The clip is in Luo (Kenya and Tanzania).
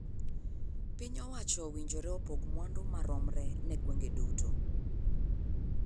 Piny owacho owinjore opog mwandu maromre ne gweng'e duto.